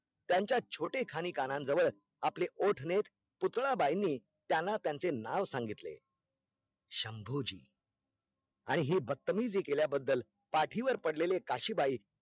त्यांच्या छोटे खाणी कानन जवळ आपले ओठ नेत पूतळाबाईनी त्यांना त्यांचे नाव सांगितले शंभू जी आणि ही बत्तमिजी केल्याबद्दल पाठीवर पडलेले काशीबाई